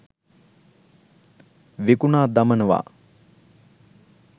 විකුණා දමනවා